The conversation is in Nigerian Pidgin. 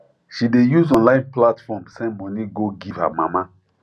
she dey use online platform send money go give her mama